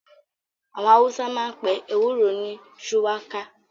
Àwọn Hausa máa ń pe ewúro ni "shuwaka "